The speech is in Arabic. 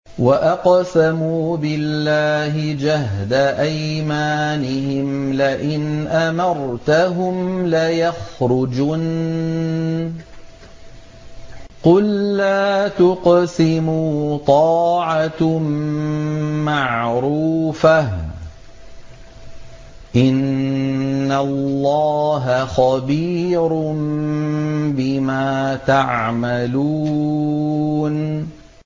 ۞ وَأَقْسَمُوا بِاللَّهِ جَهْدَ أَيْمَانِهِمْ لَئِنْ أَمَرْتَهُمْ لَيَخْرُجُنَّ ۖ قُل لَّا تُقْسِمُوا ۖ طَاعَةٌ مَّعْرُوفَةٌ ۚ إِنَّ اللَّهَ خَبِيرٌ بِمَا تَعْمَلُونَ